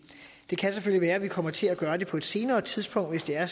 det kan selvfølgelig være at vi kommer til at gøre det på et senere tidspunkt hvis det er